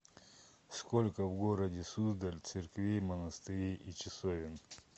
сколько в городе суздаль церквей монастырей и часовен